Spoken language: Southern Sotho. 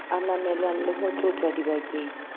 ananelwang le ho tlotlwa dibakeng